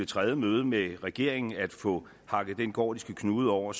tredje møde med regeringen til at få hakket den gordiske knude over